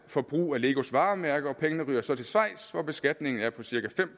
for at bruge legos varemærke og pengene ryger så til schweiz hvor beskatningen er på cirka fem